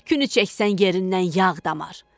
Tükünü çəksən yerindən yağ damar.